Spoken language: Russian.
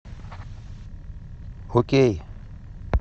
окей